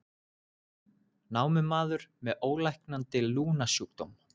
Námumaður með ólæknandi lungnasjúkdóm